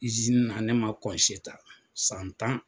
na ne ma ta san tan.